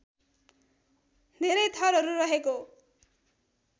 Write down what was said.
धेरै थरहरू रहेको